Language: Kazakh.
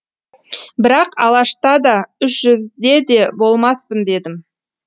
бірақ алашта да үш жүзде де болмаспын дедім